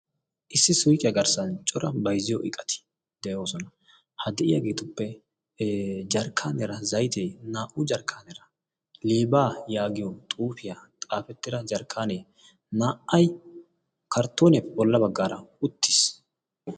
issi suuqiyaa garssan cora bayzziyo iqati' de'oosona. ha de'iyaageetuppe jarkkaanera zaytee naa'u jarkkaanera liibaa' yaagiyo xuufiyaa xaafettira jarkkaanee naa'ay karttone bolla baggaara uttiis.